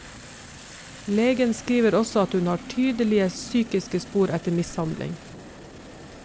Legen skriver også at hun har tydelige psykiske spor etter mishandling.